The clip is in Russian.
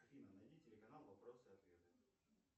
афина найди телеканал вопросы и ответы